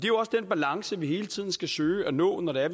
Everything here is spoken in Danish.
jo også den balance vi hele tiden skal søge at nå når